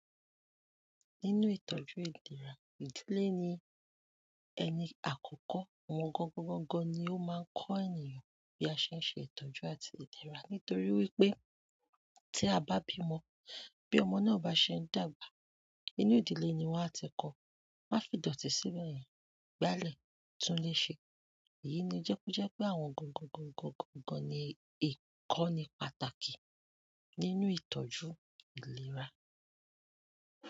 Nínú ìtọ́jú ìlera, ìdílé ni ẹni àkọ́kọ́, àwọn gọ́ńgọ́ gọ́ńgọ́ ni ó máa ń kọ́ ènìyàn bí a ṣe ń ṣe ìtọ́jú àti ìlera. Nítorí wípé tí a bá bímọ, bí ọmọ náà bá ṣe ń dàgbà, inú ìdílé ni wọ́n á ti kọ́. Má fìdọ̀tí sí'bẹ̀ yẹn, gbálẹ̀, tún ile ṣe. Èyí ni ń jẹ́ pé àwọn gọ́ńgọ́ gọ́ńgọ́ gọ́ńgọ́ ni ìkọ́ni pàtàkì nínú ìtọ́jú ìlera.